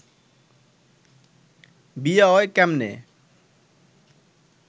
বিয়া অয় কেমনে